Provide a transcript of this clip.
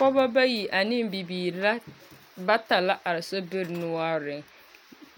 Pɔbɔ bayi ane bibiiri ra bata la ka ba are a sobiri noɔreŋ.